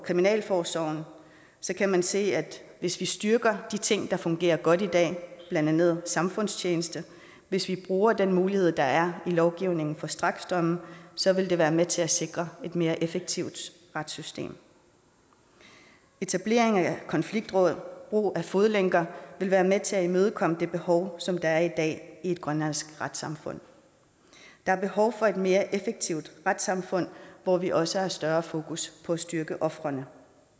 kriminalforsorgen kan man se at hvis vi styrker de ting der fungerer godt i dag blandt andet samfundstjeneste og hvis vi bruger den mulighed der er i lovgivningen for straksdomme så vil det være med til at sikre et mere effektivt retssystem etableringen af konfliktråd brug af fodlænker vil være med til at imødekomme det behov som der er i dag i et grønlandsk retssamfund der er behov for et mere effektivt retssamfund hvor vi også har større fokus på at styrke ofrene